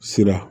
Sira